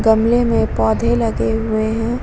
गमलें में पौधे लगे हुए हैं।